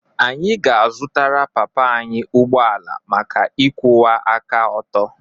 Anyị ga-azụrụ papa anyị ụgbọ ala maka ịkwụwa aka ọtọ.